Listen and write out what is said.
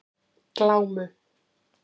Glámu